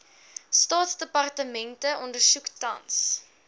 staatsdepartemente ondersoek tans